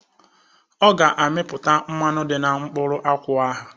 Ọ ga amipụta mmanụ dị na mkpụrụ akwụ ahụ